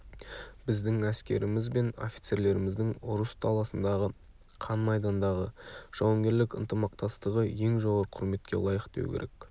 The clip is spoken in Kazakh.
біздің әскеріміз бен офицерлеріміздің ұрыс даласындағы қан майдандағы жауынгерлік ынтымақтастығы ең жоғары құрметке лайық деу керек